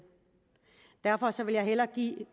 derfor vil jeg hellere give